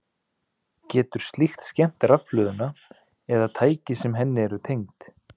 Getur slíkt skemmt rafhlöðuna eða tæki sem henni eru tengd?